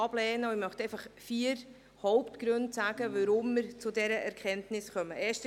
Ich möchte vier Hauptgründe nennen, weshalb wir zu dieser Erkenntnis gekommen sind.